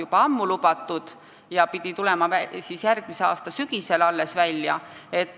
Aga see pidavat välja tulema alles järgmise aasta sügisel.